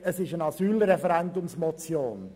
Es ist eine Asylreferendumsmotion.